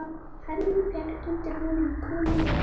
Hesturinn féll undir honum og konungur af fram.